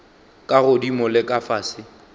ka godimo le ka fase